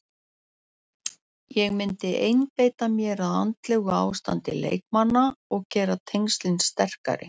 Ég myndi einbeita mér að andlegu ástandi leikmanna og gera tengslin sterkari.